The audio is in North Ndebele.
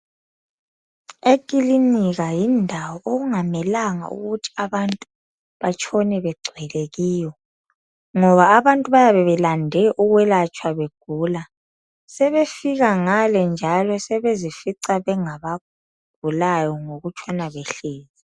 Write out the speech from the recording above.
Ekilinika yindawo okungamelanga ukuthi abantu batshone bebegcwele kiyo ngoba abantu bayabe belande ukuzokwelatshwa begula sebefika ngale njalo sebezifica bengabagulayo ngokutshona behlezi.